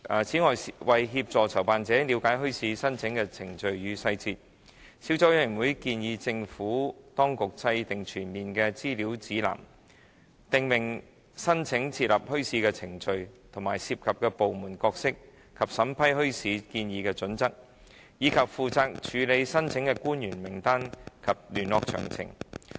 此外，為協助籌辦者了解墟市申請的程序與細節，小組委員會建議政府當局制訂全面的資料指南，訂明申請設立墟市的程序，涉及部門的角色及其審批墟市建議的準則，以及負責處理墟市申請的官員名單及聯絡詳情。